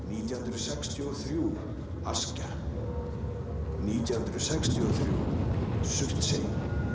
nítján hundruð sextíu og þrjú Askja nítján hundruð sextíu og þrjú Surtsey